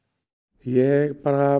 ég